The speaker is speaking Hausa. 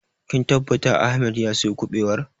Kin tabbata Ahmed ya sayo ƙubewar?